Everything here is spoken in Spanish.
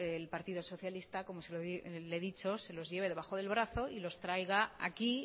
el partido socialista como le he dicho se los lleve debajo del brazo y los traiga aquí